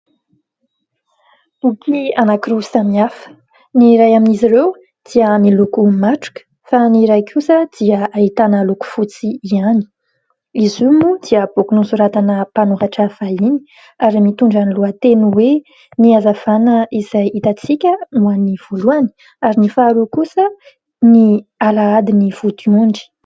Boky anakiroa samy hafa, ny iray amin'izy ireo dia miloko matroka fa ny iray kosa dia hahitana loko fotsy ihany. Izy io moa dia boky nosoratan'ny mpanoratra fahiny ary mitondra ny lohateny hoe ny azavana izay hitantsika no an'ny voalohany ary ny faharoa kosa ny alahady ny vodiondry.